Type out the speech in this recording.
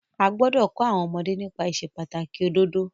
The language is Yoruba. A gbọ́dọ̀ kọ́ àwọn ọmọdé nípa ìsepàtàkì òdodo.